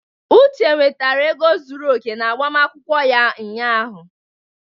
Uche nwetara ego zuru oke n'agbamakwụkwọ ya ụnyahụ.